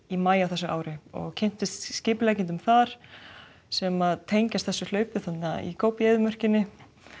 í maí á þessu ári og kynntist skipuleggjendum þar sem tengjast þessu hlaupi í Góbí eyðimörkinni